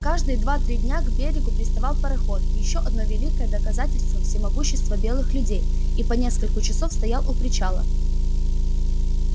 каждые два три дня к берегу приставал пароход ещё одно великое доказательство всемогущества белых людей и по нескольку часов стоял у причала